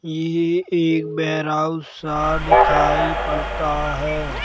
ये एक warehouse सा दिखाई पड़ता है।